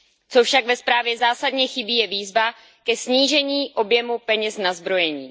Co však ve zprávě zásadně chybí, je výzva ke snížení objemu peněz na zbrojení.